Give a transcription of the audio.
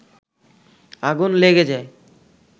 আগুন লেগে যায়